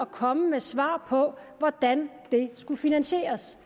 komme med svar på hvordan den skulle finansieres